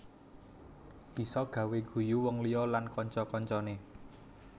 Bisa gawé guyu wong liya lan kanca kancané